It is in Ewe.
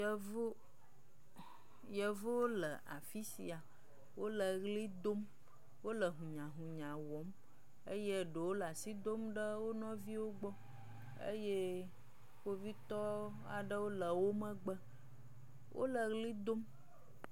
Yevuwo, yevuwo le afi sia, wole ʋli dom, hunyahunya wɔm eye ɖewo le asi dom ɖe wo nɔviwo gbɔ eye kpovitɔwo aɖewo le wo megbe. Wole ʋli dom.